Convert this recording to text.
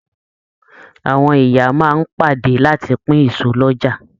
Àwọn ìyá máa n pàdé láti pin èso l'ọja.